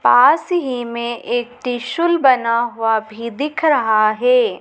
पास में ही एक त्रिशूल बना हुआ भी दिख रहा है।